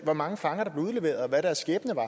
hvor mange fanger der blev udleveret og hvad deres skæbne var